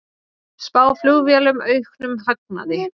Spá flugfélögum auknum hagnaði